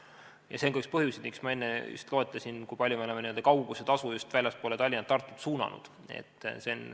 Ja see on ka üks põhjustest, mis ma enne loetlesin, et me oleme nii palju kaugusetasu just väljapoole Tallinna ja Tartut suunanud.